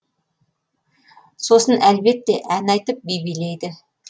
сосын әлбетте ән айтып би билейді